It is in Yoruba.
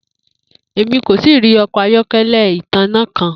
Emi ko tii ri ọkọ ayọkẹlẹ itanna kan.